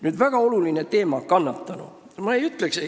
Nüüd, kannatanu on väga oluline teema.